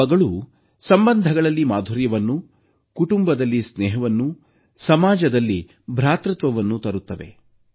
ಹಬ್ಬಗಳು ಸಂಬಂಧಗಳಲ್ಲಿ ಮಾಧುರ್ಯವನ್ನು ಕುಟುಂಬದಲ್ಲಿ ಸ್ನೇಹವನ್ನು ಸಮಾಜದಲ್ಲಿ ಭ್ರಾತೃತ್ವವನ್ನು ತರುತ್ತವೆ